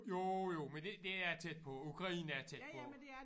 Jo jo men det det er tæt på Ukraine er tæt på